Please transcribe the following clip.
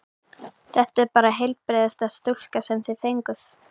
Þetta er bara heilbrigðasta stúlka sem þið fenguð.